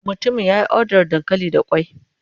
Mutumin ya yi odar dankali da ƙwai.